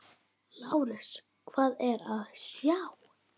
LÁRUS: Hvað er að sjá?